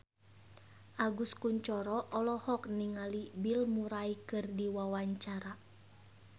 Agus Kuncoro olohok ningali Bill Murray keur diwawancara